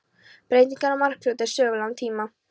Breytingar á Markarfljóti á sögulegum tíma.